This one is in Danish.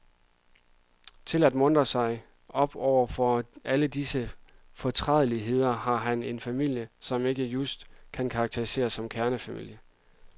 Til at muntre sig op overfor alle disse fortrædeligheder, har han en famlie, som ikke just kan karakteriseres som kernefamilie.